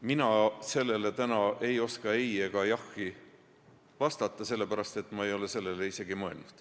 Mina ei oska täna sellele ei ega jah vastata, sellepärast, et ma ei ole sellele isegi mõelnud.